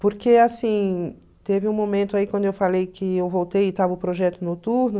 Porque, assim, teve um momento aí quando eu falei que eu voltei e estava o projeto noturno.